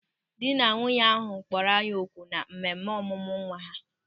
Dị na nwunye ahụ kpọrọ anyị oku na mmemme ọmụmụ nwa ha.